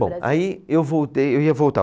Bom, aí eu voltei, eu ia voltar.